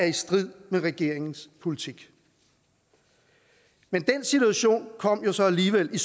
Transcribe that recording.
i strid med regeringens politik men den situation kom så alligevel